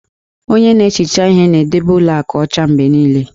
Onye na-ehicha ihe na-edobe ụlọ akụ ọcha mgbe niile